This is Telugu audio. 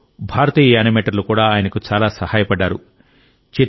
ఇందులో భారతీయ యానిమేటర్లు కూడా ఆయనకు చాలా సహాయపడ్డారు